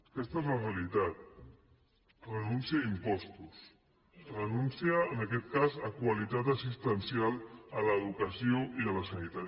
aquesta és la realitat renúncia a impostos renúncia en aquest cas a qualitat assistencial a l’educació i a la sanitat